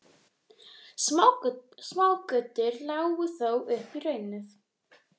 Smágötur lágu þó upp í hraunið.